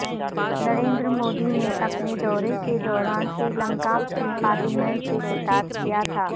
نریندر مودی نے اپنے دورے کے دوران سری لنکا کی پارلیمنٹ سے خطاب کیا تھا